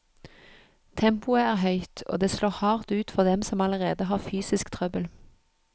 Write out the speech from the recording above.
Tempoet er høyt, og det slår hardt ut for dem som allerede har fysisk trøbbel.